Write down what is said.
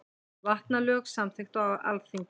Vatnalög samþykkt á Alþingi.